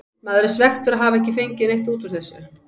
Maður er svekktur að hafa ekki fengið neitt út úr þessu.